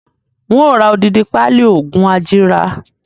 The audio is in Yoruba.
Ń ó ra odidi pali oògùn ajíra